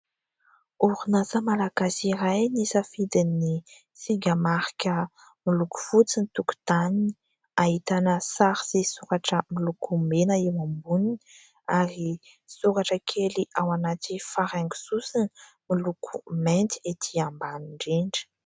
Orinasa Malagasy iray nisafidin'ny singa marika miloko fotsy ny tokon-taniny. Hahitana sary sy soratra milokomena eo amboniny, ary soratra kely ao anaty faraingo sosona miloko mainty etỳ ambany indrindra.